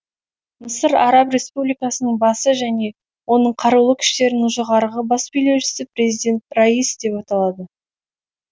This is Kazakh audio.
мысыр араб республикасының басы және оның қарулы күштерінің жоғарғы бас билеушісі президент раис деп аталады